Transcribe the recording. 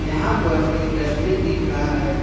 यहां पर एक डस्टबिन दिख रहा है।